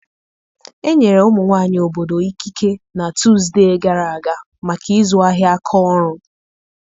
Enyere ụmụ nwanyị obodo ikike na Tuzdee gara aga maka ịzụ ahịa aka ọrụ.